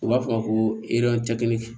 U b'a fɔ a ma ko